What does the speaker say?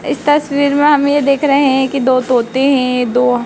इस तस्वीर मे हमे ये देख रहे है कि दो तोते है दो--